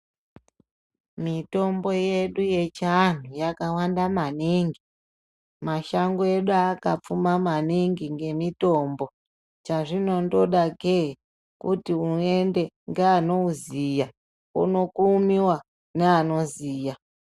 Mitombo yedu yechianhu yakawanda maningi mashango edu akapfuma maningi ngemitombo chaazvinondoda kee kuti uende ngeanoziya wookumiwa neanoziya.